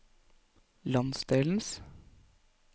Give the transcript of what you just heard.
landsdelens